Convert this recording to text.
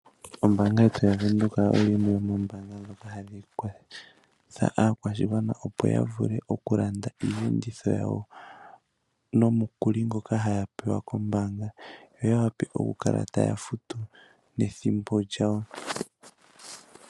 Ombaanga ya Bank Windhoek oyo yimwe yomoombaanga ndhoka hadhi kwatha akwashigwana opo ya vule okulanda iiyenditho yawo nomukuli ngoka ha ya pewa kombaanga yo ya wape oku kala ta ya futu nethimbo lyawo.